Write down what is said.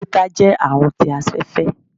títà jẹ àrùn tí afẹfẹ